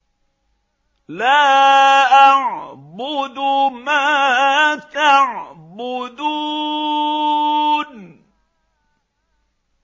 لَا أَعْبُدُ مَا تَعْبُدُونَ